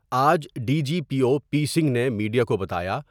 آج D G P O P Singh نے media کو بتایا۔